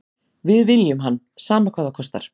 Við viljum hann, sama hvað það kostar.